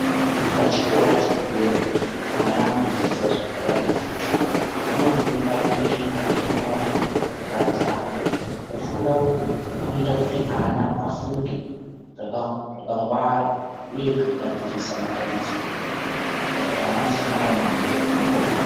Pachikora chepadera ana anodzidza zvakawanda zvitsva vanofunda kuerenga nekunyora zvakadzama kufunda uku kunoita kuti ana afunge zvak zvakangwara uye kugadzirisa matambudziko aanosangana nawo mukuhamba.